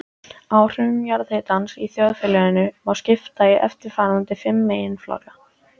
Áhrifum jarðhitans í þjóðfélaginu má skipta í eftirfarandi fimm meginflokka